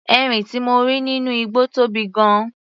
Erin tí mo rí nínú igbó tóbi gan-an.